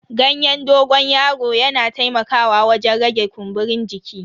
Ganyen dogon yaron yana taimakawa wajen rage kumburin jiki.